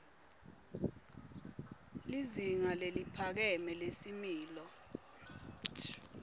lizinga leliphakeme lesimilo